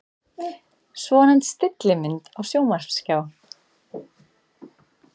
Svonefnd stillimynd á sjónvarpsskjá.